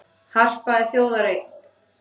Harpa er þjóðareign